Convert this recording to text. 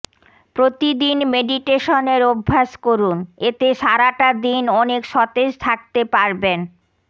প্রতিদিন মেডিটেশনের অভ্যাস করুন এতে সারাটা দিন অনেক সতেজ থাকতে পারবেন